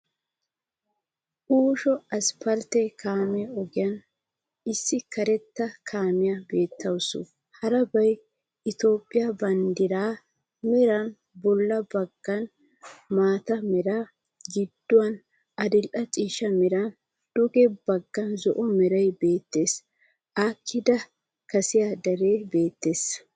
Uushsho asphphalte kaame ogiyan issi kareta kaamiyaa beettawusu. harabay Ethiiphphiyaa banddiray, meran bolla baggan maata mera, gidduwan adil"e ciishsha meran, duge baggan zo"o meray beettees. haakida kassi deree beettees.